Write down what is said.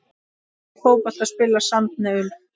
Hvernig fótbolta spilar Sandnes Ulf?